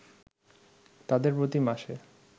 তাদের প্রতি মাসে